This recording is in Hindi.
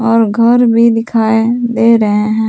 और घर भी दिखाई दे रहे हैं।